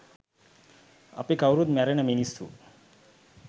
අපි කවුරුත් මැරෙන මිනිස්සු